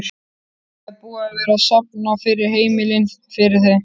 Það er búið að vera safna fyrir heimili fyrir þau?